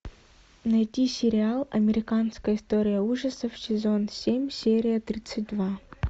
найди сериал американская история ужасов сезон семь серия тридцать два